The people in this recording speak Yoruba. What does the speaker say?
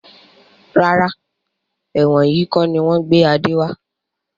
Rárá, ẹ̀wọ̀n yìí kọni wọn gbé Adé wá.